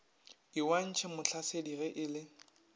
lwantšhwe motlhasedi ge e le